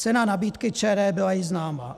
Cena nabídky ČD byla již známa.